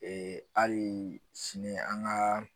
Ee hali sini an ka